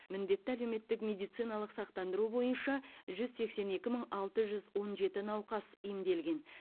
міндетті әлеуметтік медициналық сақтандыру бойынша жүз сексен екі мың алты жүз он жеті науқас емделген